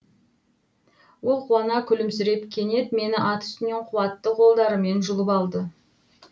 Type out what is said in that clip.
ол қуана күлімсіреп кенет мені ат үстінен қуатты қолдарымен жұлып алды